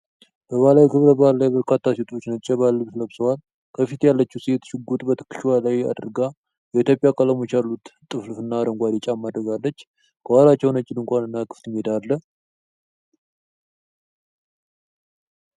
በባህላዊ ክብረ በዓል ላይ በርካታ ሴቶች ነጭ የባህል ልብስ ለብሰዋል። ከፊት ያለችው ሴት ሽጉጥ በትከሻዋ ላይ አድርጋ፣ የኢትዮጵያ ቀለሞች ያሉት ጥልፍና አረንጓዴ ጫማ አድርጋለች። ከኋላቸው ነጭ ድንኳን እና ክፍት ሜዳ አለ።